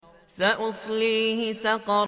سَأُصْلِيهِ سَقَرَ